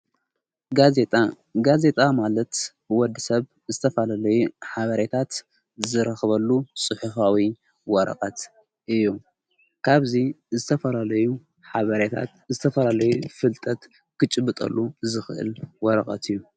ጋዜጣ ማለት ብወዲ ሰብ ዝተፈለላዩ ሓበሬታት ዝረኽበሉ ፅሑፍዊይ ወረቐት እዩ ።ካብዙይ ዝተፈለዩ ሓባሬታት ዝተፈላለይ ፍልጠት ኽጭብጠሉ ዝኽእል ወረቐት እዩ።